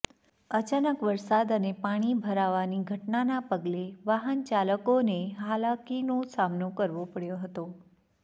અચાનક વરસાદ અને પાણી ભરાવાની ઘટનાના પગલે વાહનચાલકોને હાલાકીનો સામનો કરવો પડ્યો હતો